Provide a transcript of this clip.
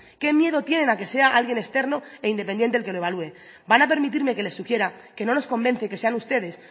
qué miedo tienen a que sea alguien externo e independiente quien lo evalúe van a permitirme que les sugiera que no nos convencen que sean ustedes